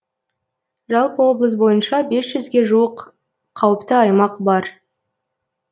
жалпы облыс бойынша бес жүзге жуық қауіпті аймақ бар